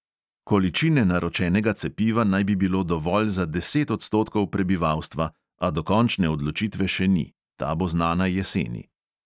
Količine naročenega cepiva naj bi bilo dovolj za deset odstotkov prebivalstva, a dokončne odločitve še ni; ta bo znana jeseni.